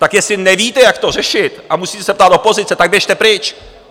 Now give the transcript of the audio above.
Tak jestli nevíte, jak to řešit, a musíte se ptát opozice, tak běžte pryč.